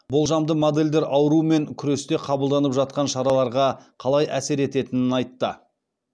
болжамды модельдер аурумен күресте қабылданып жатқан шараларға қалай әсер ететінін айтты